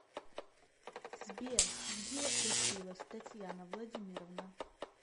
сбер где училась татьяна владимировна